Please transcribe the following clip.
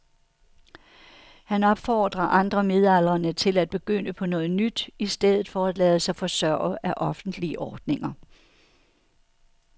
Han opfordrer andre midaldrende til at begynde på noget nyt i stedet for at lade sig forsørge af offentlige ordninger.